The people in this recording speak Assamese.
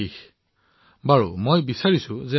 আচ্ছা মই বিচাৰিম যে